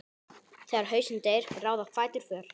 Þegar hausinn deyr ráða fætur för.